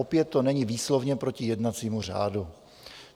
Opět to není výslovně proti jednacímu řádu.